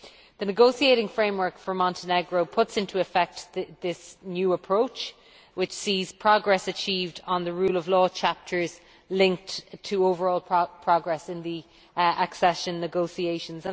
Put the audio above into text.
The negotiating framework for Montenegro puts into effect this new approach, which sees progress achieved on the rule of law chapters linked to overall progress in the accession negotiations.